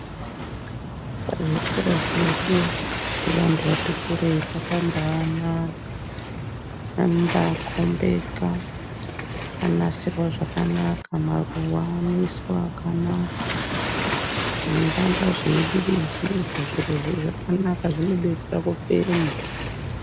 Muzvikora zvedu zvevanhu vati kurei zvakamba anaka zvinomba a kombeka ,vanonasirawo zvakanaka, maruwa anoiswa akanaka, zveiramba zveidiridzirwa, zvirozvo zvakanaka zvidetsera kufema.